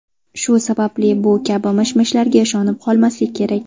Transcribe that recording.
Shu sababli bu kabi mish-mishlarga ishonib qolmaslik kerak.